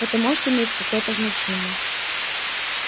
это может иметь какое-то значение